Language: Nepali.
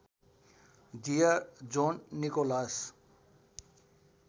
dear John Nicholas